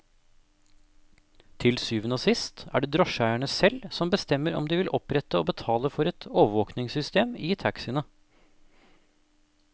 Til syvende og sist er det drosjeeierne selv som bestemmer om de vil opprette og betale for et overvåkingssystem i taxiene.